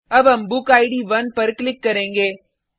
अब हम बुकिड 1 पर क्लिक करेंगे